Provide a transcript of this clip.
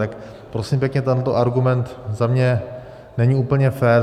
Tak prosím pěkně, tento argument za mě není úplně fér.